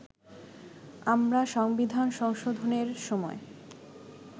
আমরা সংবিধান সংশোধনের সময়